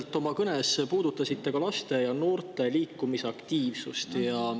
Te oma kõnes puudutasite tänuväärselt ka laste ja noorte liikumisaktiivsust.